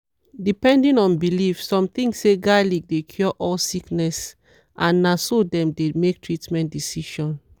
depending on belief some think say garlic dey cure all disease and na so dem dey make treatment decision.